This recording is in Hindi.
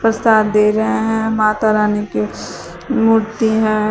प्रसाद दे रहे हैं माता रानी की मूर्ति हैं।